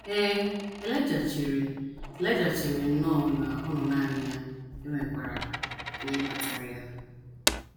Ee, Elaịja chere Elaịja chere nnọọ na ọ nọ nanị ya e nwekwara ihe kpatara ya.